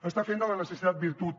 està fent de la necessitat virtut